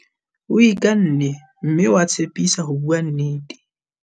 O ikanne mme wa tshepisa ho bua nnete.